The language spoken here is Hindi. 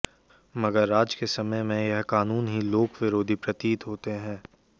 मगर आज के समय में यह कानून ही लोक विरोधी प्रतीत होते हैं